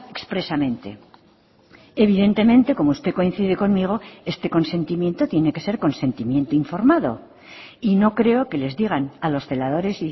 expresamente evidentemente como usted coincide conmigo este consentimiento tiene que ser consentimiento informado y no creo que les digan a los celadores